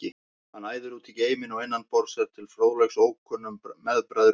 Hann æðir út í geiminn og innan borðs er til fróðleiks ókunnum meðbræðrum í